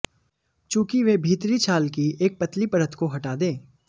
चूंकि वे भीतरी छाल की एक पतली परत को हटा दें